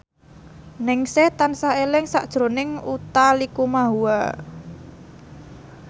Ningsih tansah eling sakjroning Utha Likumahua